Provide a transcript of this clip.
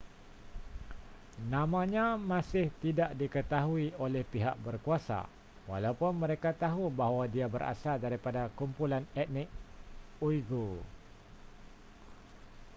namanya masih tidak diketahui oleh pihak berkuasa walaupun mereka tahu bahawa dia berasal daripada kumpulan etnik uighur